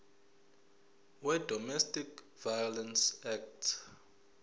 wedomestic violence act